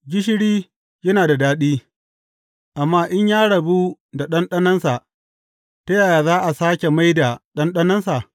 Gishiri yana da daɗi, amma in ya rabu da ɗanɗanonsa, ta yaya za a sāke mai da ɗanɗanonsa?